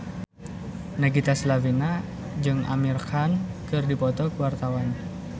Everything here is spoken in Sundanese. Nagita Slavina jeung Amir Khan keur dipoto ku wartawan